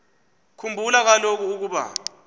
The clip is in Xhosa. khumbula kaloku ukuba